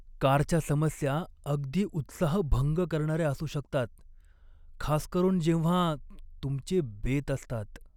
कारच्या समस्या अगदी उत्साहभंग करणाऱ्या असू शकतात, खास करून जेव्हा तुमचे बेत असतात.